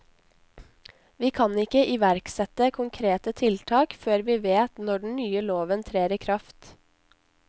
Vi kan ikke iverksette konkrete tiltak før vi vet når den nye loven trer i kraft.